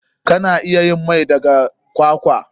Kana iya yin mai daga kwakwa.